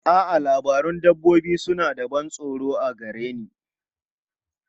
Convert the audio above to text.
A'a, labarun dabbobi suna da ban tsoro a gare ni.